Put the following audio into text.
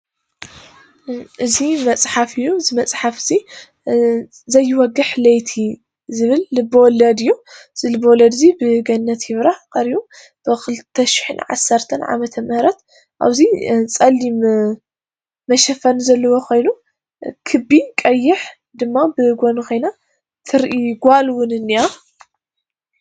እዚ መፃሓፍ እዩ እዚ መፃሓፍ እዚ ዘይወግሕ ለይቲ ዝብል ልብ -ወለድ እዩ። እዚ ልብ -ወለድ ብገነት ይብራሃ እዩ ቀሪቡ ብ2010 ዓ/ም ኣብዚ ፀሊም መሸፈኒ ዘለዎ ኮይኑ ክቢ ቀይሕ ድማ ብጎኒ ኮይና ትርኢ ጋል እውን ኢኒሃ።